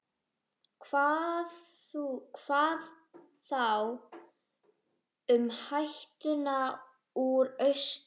Hvað þá um hættuna úr austri?